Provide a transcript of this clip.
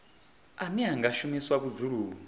ane a nga shumiswa vhudzuloni